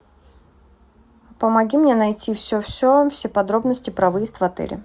помоги мне найти все все все подробности про выезд в отеле